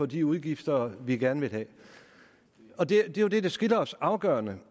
de udgifter vi gerne vil have og det er jo det der skiller os afgørende